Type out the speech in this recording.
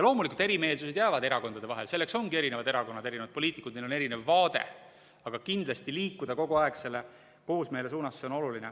Loomulikult erimeelsused jäävad erakondade vahele, selleks ongi erinevad erakonnad, erinevad poliitikud, neil on erinev vaade, aga kindlasti liikuda kogu aeg selle koosmeele suunas, see on oluline.